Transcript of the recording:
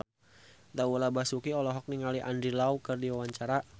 Laura Basuki olohok ningali Andy Lau keur diwawancara